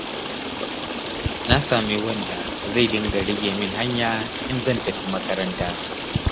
Na sami wanda zai dinga rage min hanya in zan tafi makaranta.